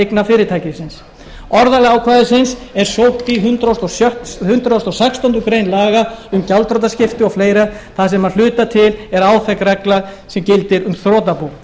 eigna fyrirtækisins orðalag ákvæðisins er sótt í hundrað og sextándu grein laga um gjaldþrotaskipti og fleira þar sem að hluta til áþekk regla gildir um þrotabú